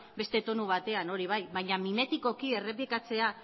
beste tonu batean hori bai baina mimetikoki errepikatzea